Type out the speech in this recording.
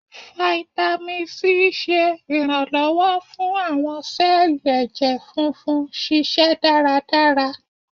Fáítámì Sí ṣe iranlọwọ fún awọn sẹẹli ẹjẹ funfun ṣiṣẹ daradara.